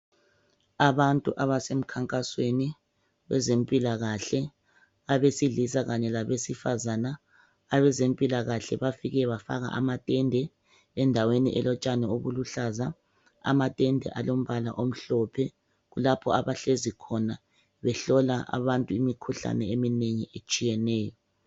Abantu abase mkhankasweni wezempilakahle abesilisa kanye labesifazana, abezempilakahle bafike bafaka amatende endaweni elotshani obuluhlaza. Amatende alombala omhlophe, kulapho abahlezi khona behlola abantu imikhuhlane eminengi etshiyeneyo.